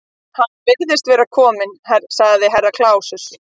Hann virðist vera kominn, sagði Herra Kláus.